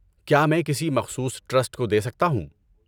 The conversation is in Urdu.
کیا میں کسی مخصوص ٹرسٹ کو دے سکتا ہوں؟